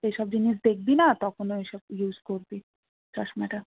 এইসব জিনিস দেখবি না তখন ঐসব use করবি চশমাটা